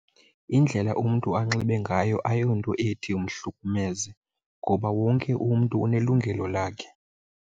Indlela umntu anxibe ngayo ayonto ethi mhlukumeze ngoba wonke umntu unelungelo lakhe.